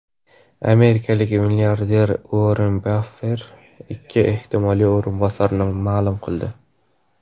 Amerikalik milliarder Uorren Baffet ikki ehtimoliy o‘rinbosarini ma’lum qildi.